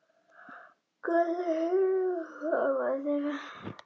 gátu hindrað framgang þeirra.